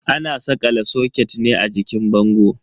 Ana sakala soket ne a jikin bango.